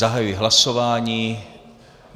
Zahajuji hlasování.